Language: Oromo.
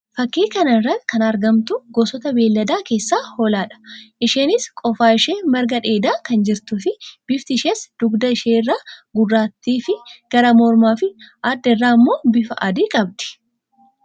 Fakkii kana irratti kan argamtu gosoota beeyladaa keessaa Hoolaadha. Isheenis qofa ishee margaa dheedaa kan jirtuu fi bifti ishees dugda ishee irraa Guurraattii fi gara mormaa fi adaa irra immoo bifa adii qabdi.